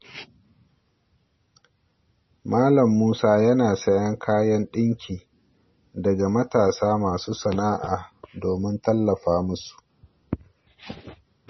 Malam Musa yana sayen kayan dinki daga matasa masu sana’a domin tallafa musu.